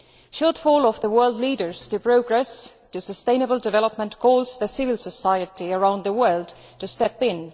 The failure of world leaders to progress to sustainable development calls for civil society around the world to step in.